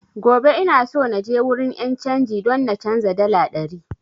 Gobe ina so naje wurin 'yan canji don na canza dala ɗari